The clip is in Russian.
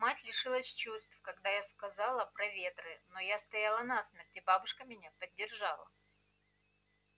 мать лишилась чувств когда я сказала про ветры но я стояла насмерть и бабушка меня поддержала